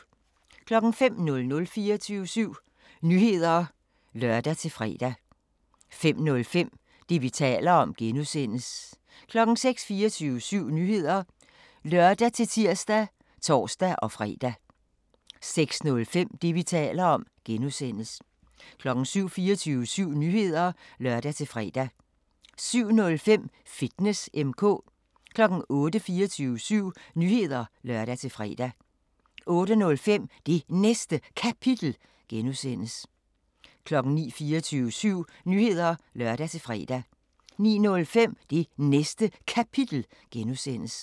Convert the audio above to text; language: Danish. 05:00: 24syv Nyheder (lør-fre) 05:05: Det, vi taler om (G) 06:00: 24syv Nyheder (lør-tir og tor-fre) 06:05: Det, vi taler om (G) 07:00: 24syv Nyheder (lør-fre) 07:05: Fitness M/K 08:00: 24syv Nyheder (lør-fre) 08:05: Det Næste Kapitel (G) 09:00: 24syv Nyheder (lør-fre) 09:05: Det Næste Kapitel (G)